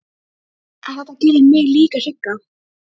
En þetta gerir mig líka hrygga.